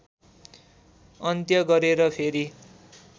अन्त्य गरेर फेरि